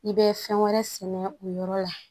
I bɛ fɛn wɛrɛ sɛnɛ o yɔrɔ la